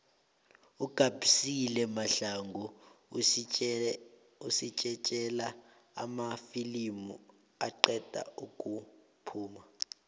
ugabisile mahlangu usitjejela amafilimu aqeda ukuphuma